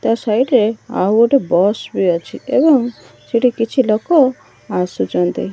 ତା ସାଇଡ଼ ରେ ଆଉ ଗୋଟେ ବସ ବି ଅଛି ଏବଂ ସେଇଠି କିଛି ଲୋକ ଆସୁଛନ୍ତି।